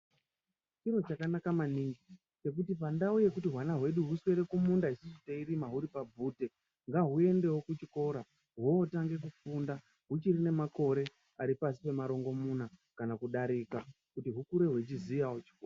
Chiro chakanaka maningi chekuti pandau yekuti hwana hwedu hwuswere kumunda isusu teirima huri pabvute, ngahuendewo kuchikora hwotange kufunda hwuchiri nemakore ari pashi pemarongomuna kana kudarika kuti hwukure hwechiziyawo chikora.